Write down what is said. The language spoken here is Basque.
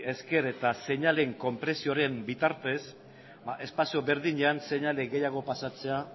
esker eta seinaleen konpresioaren bitartez espazio berdinean seinale gehiago pasatzea